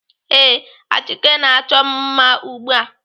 Ee, Achike na-achọ m mma ugbu a.